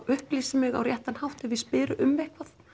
upplýsi mig á réttan hátt ef ég spyr um eitthvað